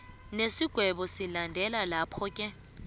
nesigwebo silandela laphoke